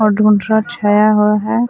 और धुंधला छाया हुआ हे।